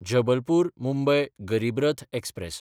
जबलपूर–मुंबय Garib Rath express